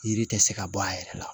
Yiri tɛ se ka bɔ a yɛrɛ la